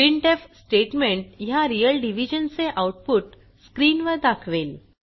printf statement ह्या real division चे output स्क्रीनवर दाखवेल